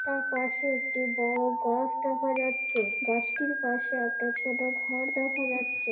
তার পাশে একটি বড় গাছ দেখা যাচ্ছে। গাছটির পাশে একটা ছোট ঘর দেখা যাচ্ছে।